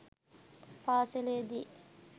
පාසලේ දී